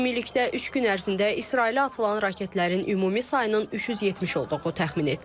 Ümumilikdə üç gün ərzində İsrailə atılan raketlərin ümumi sayının 370 olduğu təxmin edilir.